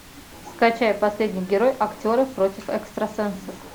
скачай последний герой актеры против экстрасенсов